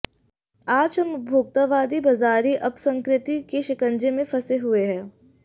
आज हम उपभोक्तावादी बाज़ारी अपसंस्कृति के शिकंजे में फंसे हुए हैं